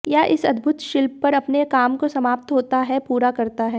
यह इस अद्भुत शिल्प पर अपने काम को समाप्त होता है पूरा करता है